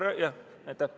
Aitäh!